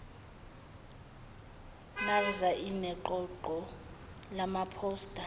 nafvsa ineqoqo lamaphosta